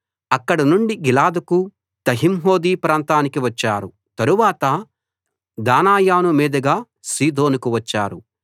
అక్కడ నుండి గిలాదుకు తహ్తింహోద్షీ ప్రాంతానికి వచ్చారు తరువాత దానాయాను మీదుగా సీదోనుకు వచ్చారు